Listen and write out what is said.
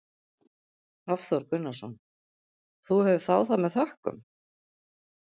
Hafþór Gunnarsson: Og þú hefur þáð það með þökkum?